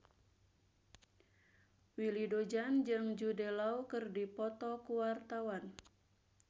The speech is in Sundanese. Willy Dozan jeung Jude Law keur dipoto ku wartawan